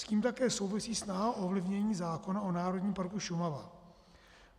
S tím také souvisí snaha o ovlivnění zákona o Národním parku Šumava.